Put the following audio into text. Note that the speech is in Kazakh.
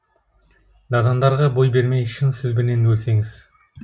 надандарға бой бермей шын сөзбенен өлсеңіз